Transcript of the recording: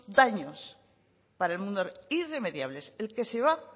daños para el mundo irremediables el que se va